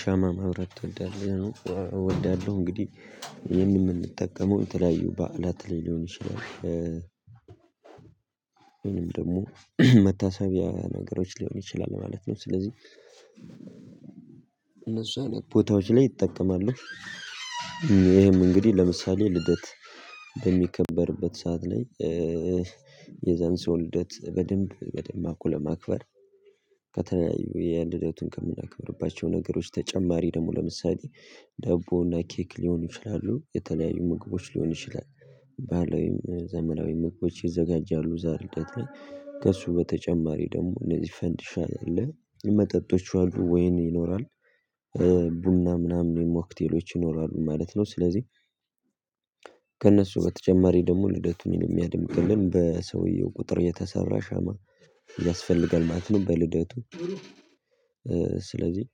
ሻማ ማብራት ትወዳለህ? እወዳለሁ። እንግዲህ፣ ይሄንን የምንጠቀመው የተለያዩ በዓላት ላይ ሊሆን ይችላል ወይንም ደግሞ መታሰቢያ ነገሮች ሊሆን ይችላል ማለት ነው። ስለዚህ እነሱ አይነት ቦታዎች ላይ እጠቀማለሁ። ይሄም እንግዲህ ለምሳሌ ልደት በሚከበርበት ሰዓት ላይ የዛን ሰው ልደት በደንብ በደማቁ ለማክበር ከተለያዩ የልደቱን ከምናከብርባቸው ነገሮች ተጨማሪ ደግሞ ለምሳሌ ዳቦና ኬክ ሊሆኑ ይችላሉ። የተለያዩ ምግቦች ሊሆን ይችላል። ባህላዊም ዘመናዊ ምግቦች ይዘጋጃሉ እዛ ልደት ላይ። ከእሱ በተጨማሪ ደግሞ እነዚህ ፈንዲሻ አለ፣ መጠጦች አሉ፣ ወይን ይኖራል ቡና ምናምን ሞክቴሎች ይኖራሉ ማለት ነው ስለዚህ ከእነሱ በተጨማሪ ደግሞ ልደቱን የሚያድምቅልን በሰውየው ቁጥር የተሰራ ሻማ ያስፈልጋል ማለት ነው በልደቱ ስለዚህ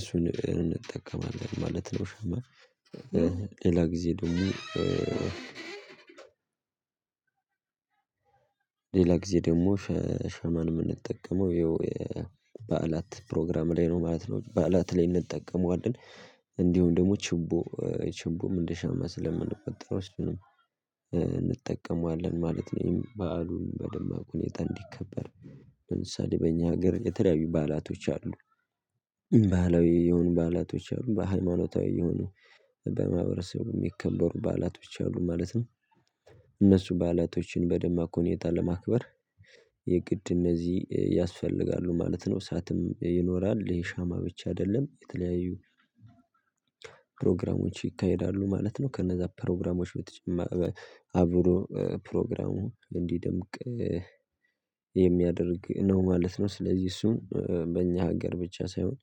እሱን እንጠቀማለን ማለት ነው ሻማ። ሌላ ጊዜ ደግሞ ሌላ ጊዜ ደግሞ ሻማን የምንጠቀመው ይኸው በዓላት ፕሮግራም ላይ ነው ማለት ነው። በዓላት ላይ እንጠቀመዋለን። እንዲሁም ደግሞ ችቦ፣ ችቦም እንደሸማ ስለምንቆጠረው እሱንም እንጠቀማለን ማለት ነው። በዓሉን በደማቅ ሁኔታ እንዲከበር። ለምሳሌ በእኛ ሀገር የተለያዩ ባዓላቶች አሉ። ባህላዊ የሆኑ በዓላቶች አሉ። በሃይማኖታዊ የሆኑ በማህበረሰቡ የሚከበሩ በዓላቶች አሉ ማለት ነው። እነሱ በዓላቶችን በደማቅ ሁኔታ ለማክበር የግድ እነዚህ ያስፈልጋሉ ማለት ነው። እሳትም ይኖራል። ይሄ ሻማ ብቻ አይደለም የተለያዩ ፕሮግራሞች ይካሄዳሉ ማለት ነው። ከነዛ ፕሮግራሞች በተጨማ አብሮ ፕሮግራሙ እንዲደምቅ የሚያደርግ ነው ማለት ነው። ስለዚህ እሱን በእኛ ሀገር ብቻ ሳይሆን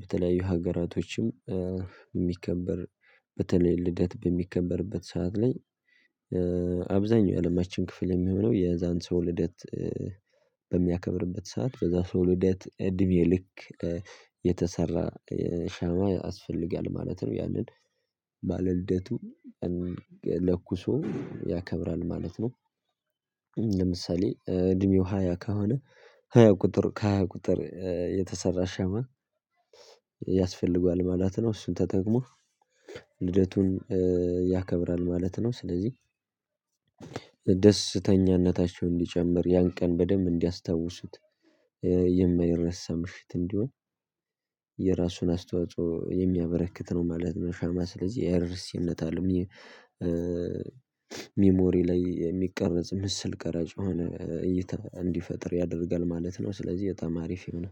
በተለያዩ ሀገራቶችም የሚከበር፣ በተለይ ልደት በሚከበርበት ሰዓት ላይ፣ አብዛኛው የአለማችን ክፍል የሚሆነው የዛን ሰው ልደት በሚያከብርበት ሰዓት፣ በዛ ሰው ልደት እድሜ ልክ የተሰራ ሻማ ያስፈልጋል ማለት ነው። ያንን ባለልደቱ ለኩሶ ያከብራል ማለት ነው። ለምሳሌ እድሜው ሃያ ከሆነ ሃያ ቁጥር ከሃያ ቁጥር የተሰራ ሻማ ያስፈልገዋል ማለት ነው። እሱን ተጠቅሞ ልደቱን ያከብራል ማለት ነው። ስለዚህ ደስተኛነታቸው እንዲጨምር ያን ቀን በደንብ እንዲያስታውሱት የማይረሳ ምሽት እንዲሆን የራሱን አስተዋጽኦ የሚያበረክት ነው ማለት ነው ሻማ። ስለዚህ አይረሲነት አለው ሚሞሪ ላይ የሚቀረጽ ምስል ቀራጭ የሆኖ እንዲፈጥር ያደርጋል ማለት ነው። ስለዚህ በጣም አሪፍ የሆነ